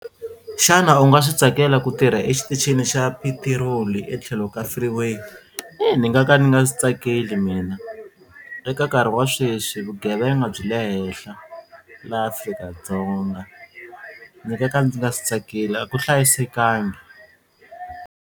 Xana u nga swi tsakela ku tirha exitichini xa petiroli etlhelo ka freeway? Ni nga ka ni nga swi tsakeli mina eka nkarhi wa sweswi vugevenga byi le henhla laha Afrika-Dzonga ni nga ka ndzi nga swi tsakeli a ku hlayisekangi.